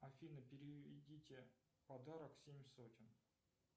афина переведите подарок семь сотен